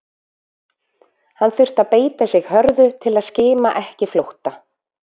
Hann þurfti að beita sig hörðu til að skima ekki flótta